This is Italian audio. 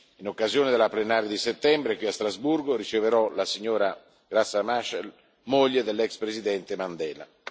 In occasione della plenaria di settembre qui a Strasburgo, riceverò la signora Graça Machel, moglie dell'ex Presidente Mandela.